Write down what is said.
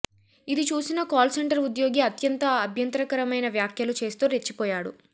ఇది చూసిన call centre ఉద్యోగి అత్యంత అభ్యంతరకరమైన వ్యాఖ్యలు చేస్తూ రెచ్చిపోయాడు